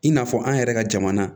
I n'a fɔ an yɛrɛ ka jamana